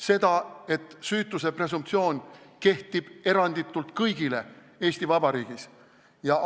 Seda, et süütuse presumptsioon kehtib Eesti Vabariigis eranditult kõigi kohta.